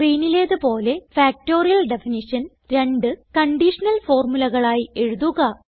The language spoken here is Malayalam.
സ്ക്രീനിലേത് പോലെ ഫാക്ടറിയൽ ഡെഫിനിഷൻ രണ്ട് കണ്ടീഷണൽ ഫോർമുലകളായി എഴുതുക